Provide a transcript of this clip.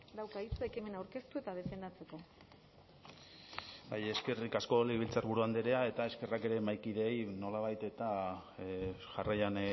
dauka hitza ekimena aurkeztu eta defendatzeko bai eskerrik asko legebiltzarburu andrea eta eskerrak ere mahaikideei nolabait eta jarraian